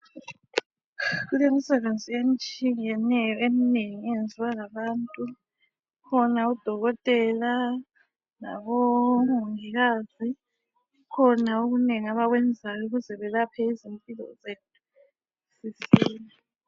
Kulemisebenzi etshiyeneyo eminengi eyenziwa ngabantu. Kukhona udokotela labomongikazi. Kukhona okunengi abakwenzayo ukuze belaphe izimpilo zethu sisile.